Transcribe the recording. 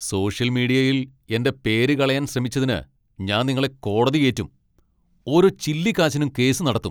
Social മീഡിയയിൽ എന്റെ പേര് കളയാൻ ശ്രമിച്ചതിന് ഞാൻ നിങ്ങളെ കോടതി കേറ്റും. ഓരോ ചില്ലിക്കാശിനും കേസ് നടത്തും.